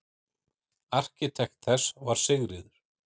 Arkitekt þess var Sigríður